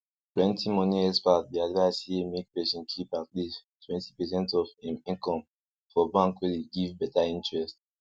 plenty moni experts dey advise say make person keep at least twenty percent of im income for bank wey dey give better interest